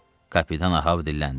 Kapitan Ahab dilləndi.